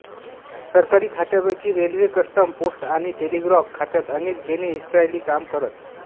सरकारी खात्यांपैकी railway custom post आणि टेलिग्राफ खात्यात अनेक बेने इस्रायली काम करत